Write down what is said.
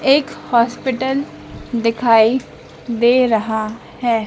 एक हॉस्पिटल दिखाई दे रहा है।